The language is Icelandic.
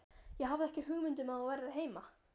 Ég hafði ekki hugmynd um að þú værir heima